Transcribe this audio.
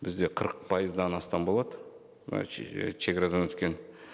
бізде қырық пайыздан астам болады мына шегарадан өткен